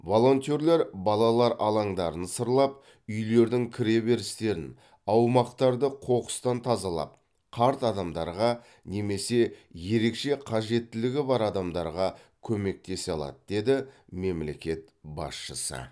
волонтерлер балалар алаңдарын сырлап үйлердің кіре берістерін аумақтарды қоқыстан тазалап қарт адамдарға немесе ерекше қажеттілігі бар адамдарға көмектесе алады деді мемлекет басшысы